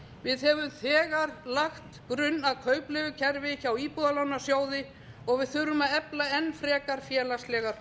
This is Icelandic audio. við höfum þegar lagt grunn að kaupleigukerfi hjá íbúðalánasjóði og við þurfum að efla enn frekar félagslegar